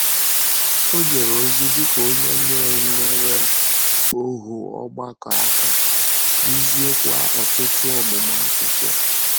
Ọ jèrè ozi dị ka onye na-enyèrè òhù ọgbàkọ àkà, dúzìèkwa ọ̀tụ̀tụ̀ ọmụmụ akwụkwọ.